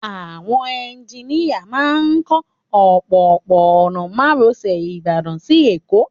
Àwọn eunjíníyà náà ń kọ́ òpópó-ọ̀nà márosẹ̀ Ìbàdàn si Èkó